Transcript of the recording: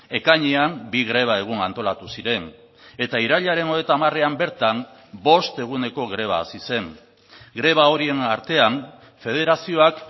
ekainean bi greba egun antolatu ziren eta irailaren hogeita hamarean bertan bost eguneko greba hasi zen greba horien artean federazioak